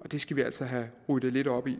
og det skal vi altså have ryddet lidt op i